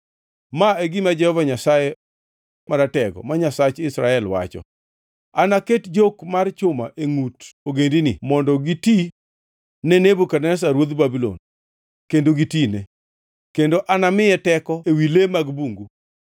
Ma e gima Jehova Nyasaye Maratego, ma Nyasach Israel, wacho: Anaket jok mar chuma e ngʼut ogendinigi mondo gitine Nebukadneza ruodh Babulon, kendo ginitine. Kendo anamiye teko ewi le mag bungu.’ ”